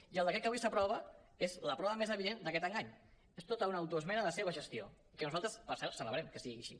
i el decret que avui s’aprova és la prova més evident d’aquest engany és tota una autoesmena a la seva gestió i nosaltres per cert celebrem que sigui així